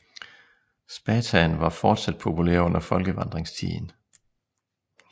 Spathaen var fortsat populær under folkevandringstiden